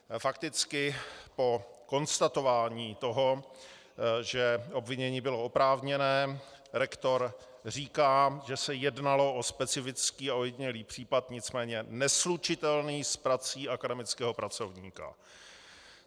Fakticky po konstatování toho, že obvinění bylo oprávněné, rektor říká, že se jednalo o specifický a ojedinělý případ, nicméně neslučitelný s prací akademického pracovníka.